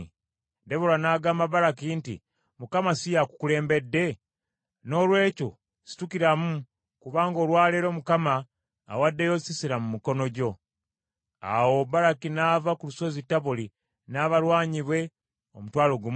Debola n’agamba Baraki nti, “ Mukama si y’akukulembedde! Noolwekyo situkiramu kubanga olwa leero Mukama awaddeyo Sisera mu mikono gyo.” Awo Baraki n’ava ku lusozi Taboli n’abalwanyi be omutwalo gumu.